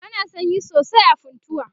ana sanyi sosai a funtua